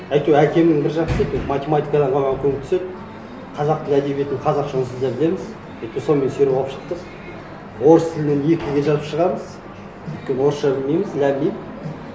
әйтеуір әкемнің бір жақсысы әйтеуір математикадан маған көмектеседі қазақ тілі әдебиетін қазақша онсыз да білеміз и то сонымен сүйреп алып шықтық орыс тілінен екіге жазып шығамыз өйткені орысша білмейміз ләм мим